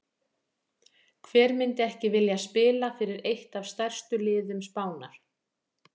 Hver myndi ekki vilja spila fyrir eitt af stærstu liðum Spánar?